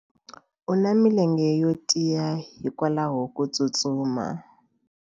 U na milenge yo tiya hikwalaho ko tsustuma.